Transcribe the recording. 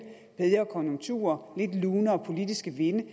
bedre konjunkturer lidt lunere politiske vinde